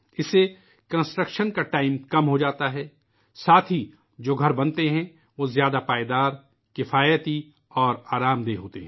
اس سے تعمیرات کا وقت کم ہوجاتا ہے نیز جو مکانات تعمیر کئے گئے ہیں ، وہ زیادہ پائیدار ، کفایتی اور آرام دہ ہوتے ہیں